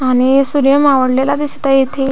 आणि सूर्य मावळलेला दिसत आहे इथे.